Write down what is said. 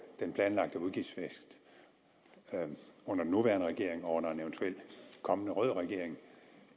den planlagte udgiftsvækst under den nuværende regering og under en eventuelt kommende rød regering